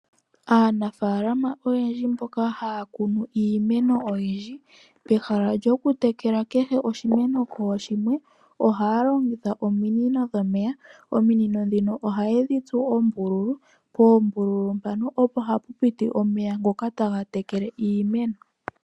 Aanafalama oyendji mboka haya kunu iimeno oyindji pehala lyoku tekela kehe oshimeno kooshimwe ohaya longitha ominino dhomeya. Ominino ndhino ohaye dhi tsu oombululu poombululu mpono opo hapu piti omeya ngoka taga tekele iimeno.